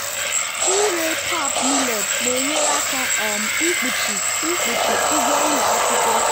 ịre pap millet na-enyere aka um ikpuchi ikpuchi ụgwọ ụlọ akwụkwọ.